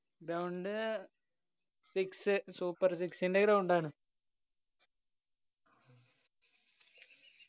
ground six super six ന്റെ ground ആണ്.